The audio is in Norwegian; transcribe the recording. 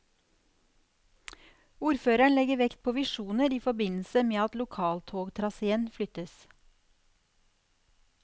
Ordføreren legger vekt på visjoner i forbindelse med at lokaltogtraséen flyttes.